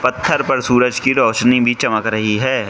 घर पर सूरज की रोशनी भी चमक रही है।